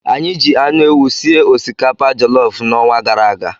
Anyị ji anụ ewu sie osikapa jelof n'ọnwa gara aga.